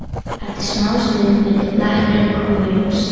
Eftir smástund myndi bletturinn koma í ljós.